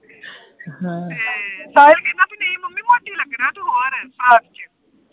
ਤੇ ਸਾਹਿਲ ਕਹਿੰਦਾ ਨਹੀਂ ਮੰਮੀ ਮੋਟੀ ਲੱਗਣਾ ਤੂੰ ਹੋਰ ਫਰਾਕ ਚ